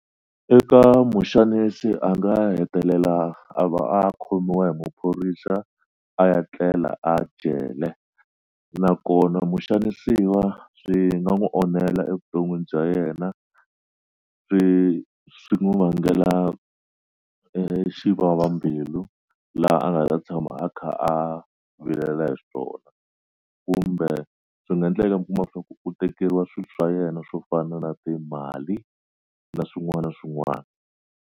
Eka muxanisi a nga hetelela a va a khomiwa hi maphorisa a ya tlela a jele nakona muxanisiwa swi nga n'wu onhela evuton'wini bya yena swi swi n'wu vangela e exivava mbilu laha a nga ta tshama a kha a vilela hi swona kumbe swi nga ndleka mi kuma swa ku u tekeriwa swilo swa yena swo fana na timali na swin'wana na swin'wana.